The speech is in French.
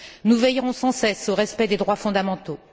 Nous veillerons sans cesse au respect des droits fondamentaux.